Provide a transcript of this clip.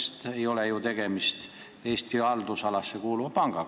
Tegemist ei ole ju Eesti haldusalasse kuuluva pangaga.